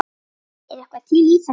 Er eitthvað til í þessu?